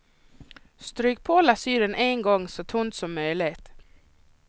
Stryk på lasyren en gång så tunt som möjligt.